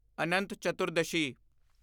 ਅਨੰਤ ਚਤੁਰਦਸ਼ੀ